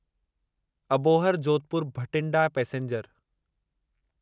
Abohar Jodhpur Bathinda passenger